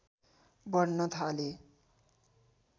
बढ्न थाले